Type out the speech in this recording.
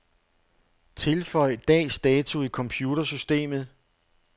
Tilføj dags dato i computersystemet.